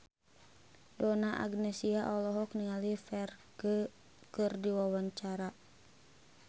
Donna Agnesia olohok ningali Ferdge keur diwawancara